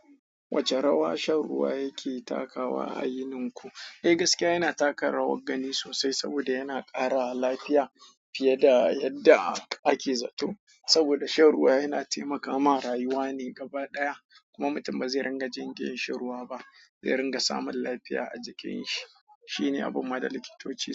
Wace rawa shan ruwa yake takawa a yininku? Eh gaskiya yana taka rawar gani sosai saboda yana ƙara lafiya fiye da yadda ake zato. Saboda shan ruwa yana taimaka ma rayuwa ne gaba ɗaya kuma mutum ba zai ringa jin kirin shan ruwa ba, zai ringa samun lafiya a jikinshi. Shi ne abu ma da likitoci su.